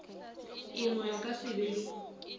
engwe a ka sebe le